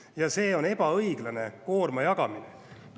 Ja see on ebaõiglane koorma jagamine.